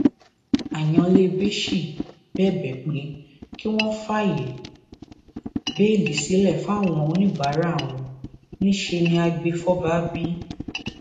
anyalébéchi bẹbẹ pé kí wọn fààyè béèlì sílẹ fáwọn oníbàárà àwọn níṣẹ ní àgbẹfọba b